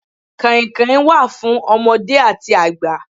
Kàìnkàìn wà fún ọmọdé àti àgbà.